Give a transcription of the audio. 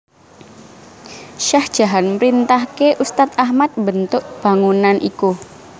Shah Jahan mrintahke Ustaz Ahmad mbentuk bangunan iku